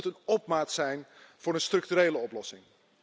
Het moet een opmaat zijn voor een structurele oplossing.